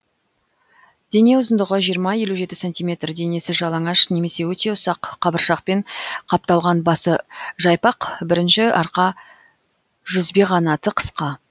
дене ұзындығы жиырма елу жеті сантиметр денесі жалаңаш немесе өте ұсақ қабыршақпен қапталған басы жайпақ бірінші арқа жүзбеқанаты қысқа